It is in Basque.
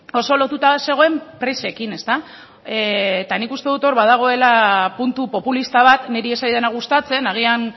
oso lotuta zegoen presekin ezta eta nik uste dut hor badagoela puntu populista bat niri ez zaidana gustatzen agian